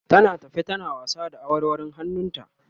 tana tafe tana wasa da awarwarun hannun ta